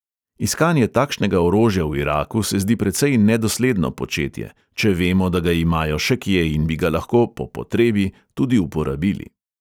Iskanje takšnega orožja v iraku se zdi precej nedosledno početje, če vemo, da ga imajo še kje in bi ga lahko "po potrebi" tudi uporabili.